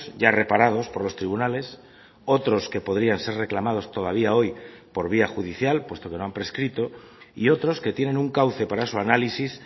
ya reparados por los tribunales otros que podrían ser reclamados todavía hoy por vía judicial puesto que no han prescrito y otros que tienen un cauce para su análisis